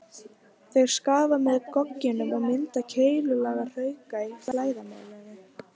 Þeir skafa leir með gogginum og mynda keilulaga hrauka í flæðarmálinu.